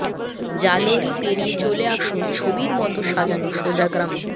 জালোরি পেরিয়ে চলে আসুন ছবির মতো সাজানো সোজা গ্রামে